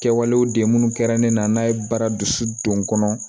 Kɛwalew de ye minnu kɛra ne na n'a ye bara dusu don n kɔnɔ